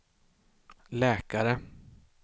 läkare